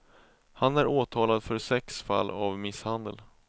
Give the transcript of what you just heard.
Han är åtalad för sex fall av misshandel.